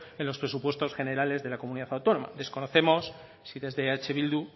en los presupuestos generales de la comunidad autónoma desconocemos si desde eh bildu